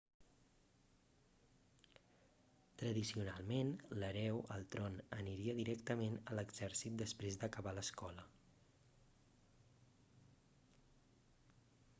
tradicionalment l'hereu al tron aniria directament a l'exèrcit després d'acabar l'escola